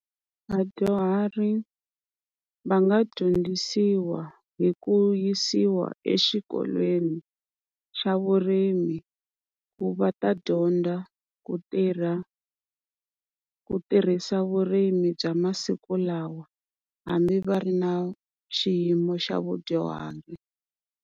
Vadyuhari va nga dyondzisiwa hi ku yisiwa exikolweni xa vurimi, ku va ta dyondza ku tirha ku tirhisa vurimi bya masiku lawa hambi va ri na xiyimo xa vudyuhari.